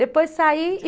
Depois saí e...